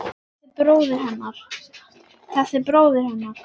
Þessi bróðir hennar!